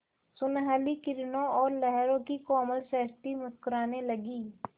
सुनहली किरणों और लहरों की कोमल सृष्टि मुस्कराने लगी